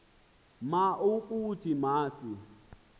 ma ukuthi masi